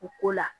U ko la